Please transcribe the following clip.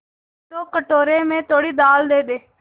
तो कटोरे में थोड़ी दाल दे दे